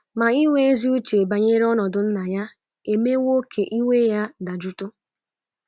Ma inwe ezi uche banyere ọnọdụ nna ya emewo ka iwe ya dajụtụ.